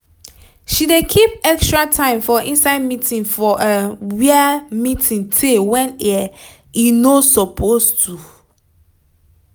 she dey keep extra time for inside meeting for um wia meeting teyy wen um e no suppose to